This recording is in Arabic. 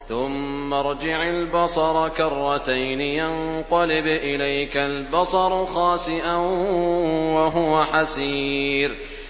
ثُمَّ ارْجِعِ الْبَصَرَ كَرَّتَيْنِ يَنقَلِبْ إِلَيْكَ الْبَصَرُ خَاسِئًا وَهُوَ حَسِيرٌ